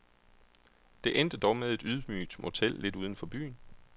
Det endte dog med et ydmygt motel lidt uden for byen.